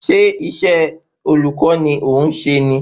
Ṣé isé olùkó ni ọ̀ ń se ní?